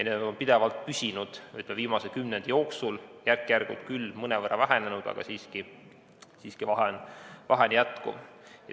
Need on pidevalt viimase kümnendi jooksul püsinud, järk-järgult küll mõnevõrra vähenenud, aga vahe siiski on.